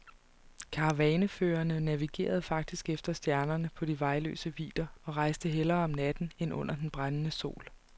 Karavaneførerne navigerede faktisk efter stjerner på de vejløse vidder og rejste hellere om natten end under den brændende sol.